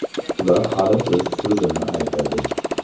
Ular hali o‘z so‘zini aytadi.